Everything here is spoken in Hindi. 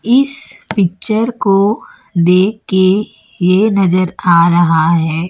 इस पिक्चर को देख के ये नजर आ रहा है।